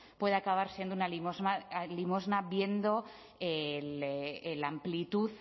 puede acabar siendo una limosna viendo la amplitud